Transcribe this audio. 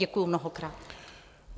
Děkuji mnohokrát.